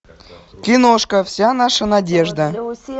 киношка вся наша надежда